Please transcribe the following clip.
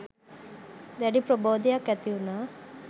දැඩි ප්‍රබෝදයක් ඇති උනා